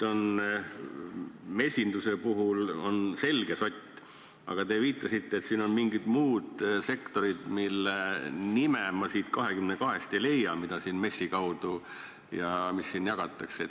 Mesindusega on nüüd selge sott, aga te viitasite, et on mingid muud sektorid, mille nime ma nende 22 seast ei leia, mida siin MES-i kaudu jagatakse.